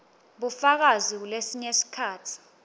bufakazi kulesinye sikhatsi